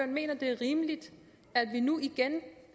mener det er rimeligt at vi nu igen